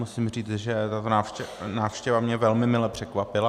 Musím říci, že ta návštěva mě velmi mile překvapila.